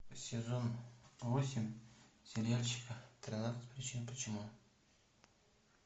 сезон восемь сериальчика тринадцать причин почему